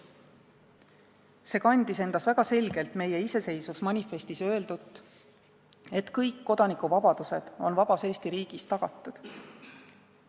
See kandis endas väga selgelt meie iseseisvusmanifestis öeldut, et kõik kodanikuvabadused on vabas Eesti riigis tagatud.